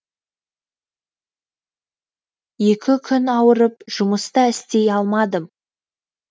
екі күн ауырып жұмыс та істей алмадым